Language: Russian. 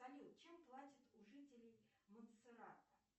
салют чем платят у жителей монсерата